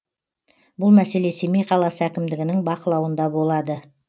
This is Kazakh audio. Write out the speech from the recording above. бұл мәселе семей қаласы әкімдігінің бақылауында болады